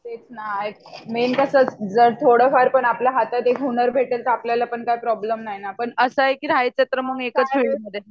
तेच ना मेन कस असत आपल्या हातात एक हुनर भेटेल तर आपल्याला पण काय प्रोब्लेम नाही ना पण असा आहे की राहायच तर एकाच